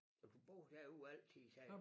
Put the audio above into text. Og du boede derude altid sagde du